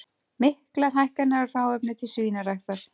Miklar hækkanir á hráefni til svínaræktar